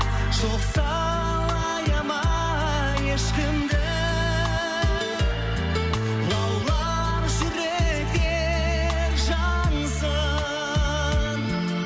жоқсалаяма ешкімді лаулап жүректер жансын